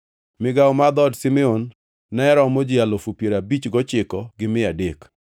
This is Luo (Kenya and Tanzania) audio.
Migawo mar dhood Simeon ne romo ji alufu piero abich gochiko gi mia adek (59,300).